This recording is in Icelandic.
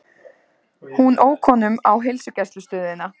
Hún ók honum á heilsugæslustöðina.